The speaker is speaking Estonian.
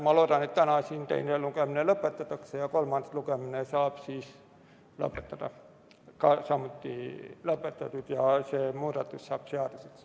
Ma loodan, et täna siin teine lugemine lõpetatakse ja kolmas lugemine saab samuti lõpetatud ning see muudatus saab seaduseks.